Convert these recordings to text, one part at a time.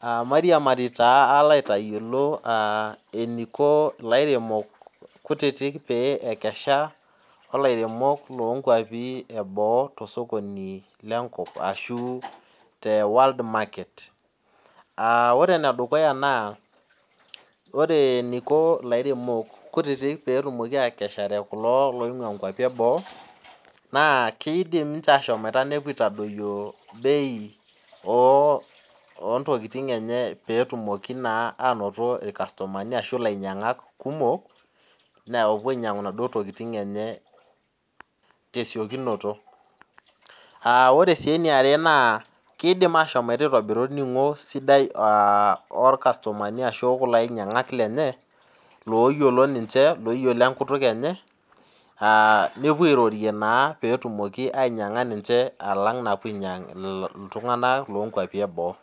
Aa mairiamari taa alo aitayiolo lairemok kutitik pepuo aikesha olairemok leboo tosokoni lenkop ashu te world market ore enedukuya na ore eniko lairemok kutitik petumoki atekesishore nkwapi eboo na kidil ninche ashomoito nepuo aitadoyio bei ontokitin enye petumoki ainoto irkastomani kumok lopuo ainyangu naduo tokitin enyw tesiokinoto aa ore si eniare na kidim ashomo aitobiru esidai olainyangak lenye loyiolo ninche oyiolo enkituk enye nepuo airorie petumoki anyanga ninche alanga enepuo ainyang ltunganak lonkwapi eboo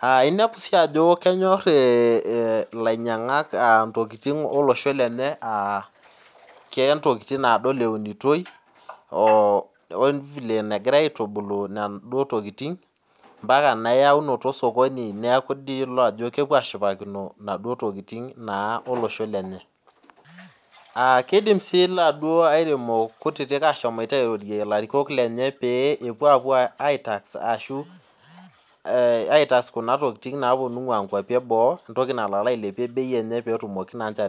aainepu si ajo kenyor lainyangak ntokitin olosho lenye aa keya ntokitin nadol enotioi mbaka na eyaunoto osokoni neaku idol ajo kepuo ashipakino naduo tokitin naa olosho lenye aa kidim si laduo aremok kutitik airorie larikok lenye pepuo aitax ashu ataas kuna tokitin naingu nkwapi eboo petumoki bei ailepa.